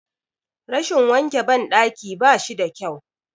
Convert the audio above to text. Rashin wanke ban ɗaki bashi da kyau